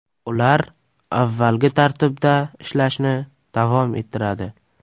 Ular avvalgi tartibda ishlashni davom ettiradi.